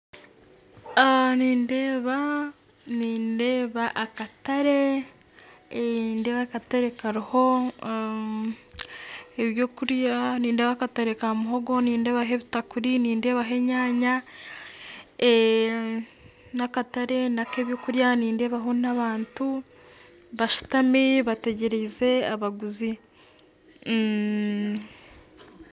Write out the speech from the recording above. Nindeeba akatare kariho ebyokurya, nindeeba akatare ka muhogo, nindebaho ebitakuri, nindebaho enyaanya nakatare ak'ebyokurya nindeebaho n'abantu bashutami bategyerize abaguzi